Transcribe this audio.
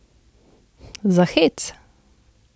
Za hec!